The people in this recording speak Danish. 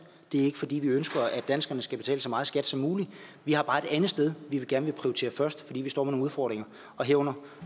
det er ikke fordi vi ønsker at danskerne skal betale så meget skat som muligt vi har bare et andet sted vi gerne vil prioritere først fordi vi står med nogle udfordringer herunder